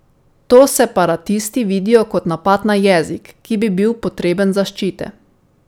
To separatisti vidijo kot napad na jezik, ki bi bil potreben zaščite.